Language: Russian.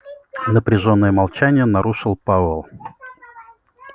напряжённое молчание нарушил пауэлл